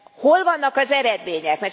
Hol vannak az eredmények?